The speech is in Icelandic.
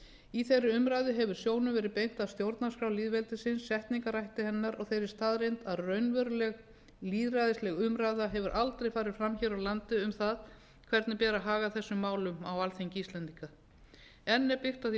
í þeirri umræðu hefur sjónum verið beint að stjórnarskrá lýðveldisins setningarhætti hennar og þeirri staðreynd að raunveruleg lýðræðisleg umræða hefur aldrei farið fram hér á landi um það hvernig beri að haga þessum málum á alþingi íslendinga enn er byggt á því